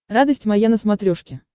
радость моя на смотрешке